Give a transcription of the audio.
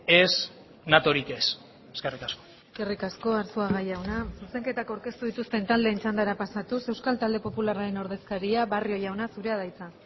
ez natorik ez eskerrik asko eskerrik asko arzuaga jauna zuzenketak aurkeztu dituzten taldeen txandara pasatuz euskal talde popularraren ordezkaria barrio jauna zurea da hitza